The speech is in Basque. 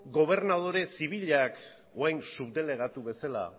gobernadore zibilak orain subdelegatu bezala